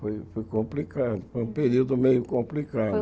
Foi foi complicado, foi um período meio complicado.